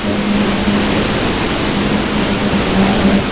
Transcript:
Photo में एक black colour का कार है।